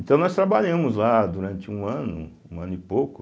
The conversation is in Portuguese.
Então nós trabalhamos lá durante um ano, um ano e pouco.